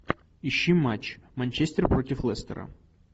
ищи матч манчестер против лестера